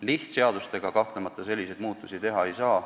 Lihtseadustega kahtlemata selliseid muudatusi teha ei saa.